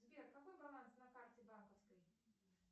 сбер какой баланс на карте банковской